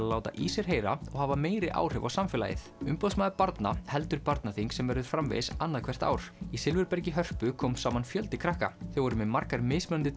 láta í sér heyra og hafa meiri áhrif á samfélagið umboðsmaður barna heldur barnaþing sem verður framvegis annað hvert ár í Silfurbergi í Hörpu kom saman fjöldi krakka þau voru með margar mismunandi